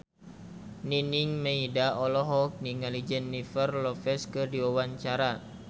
Nining Meida olohok ningali Jennifer Lopez keur diwawancara